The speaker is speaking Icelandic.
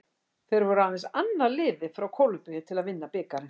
Þeir voru aðeins annað liðið frá Kólumbíu til að vinna bikarinn.